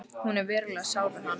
Hún er verulega sár við hann.